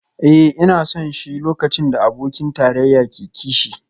Eh ina son shi lokacin da abokin tarayya ke kishi